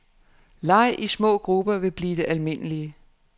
Leg i små grupper vil blive det almindelige.